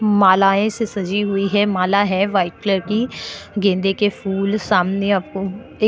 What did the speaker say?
मालाएँ से सजी हुई है माला है व्हाइट कलर की गेंदे के फूल सामने आपको एक --